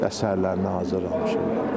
Əsərlərini hazırlamışıq.